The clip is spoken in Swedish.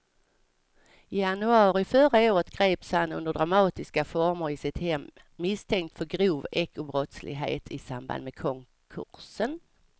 I januari förra året greps han under dramatiska former i sitt hem misstänkt för grov ekobrottslighet i samband med konkursen.